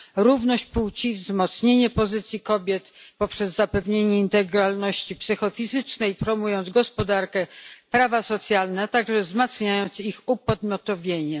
równość płci i wzmocnienie pozycji kobiet poprzez zapewnienie integralności psychofizycznej, promując gospodarkę, prawa socjalne, a także wzmacniając ich upodmiotowienie.